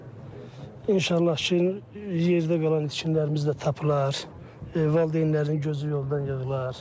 Yəni inşallah ki, yerdə qalan itkinlərimiz də tapılar, valideynlərin gözü yoldan yığlar.